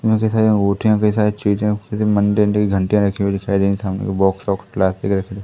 मुझे सारी अंगूठियां कई सारे चीजें किसी मंदिर की घंटियां रखी हुई दिखाई दे रही सामने बॉक्स वॉक्स खुला रखा--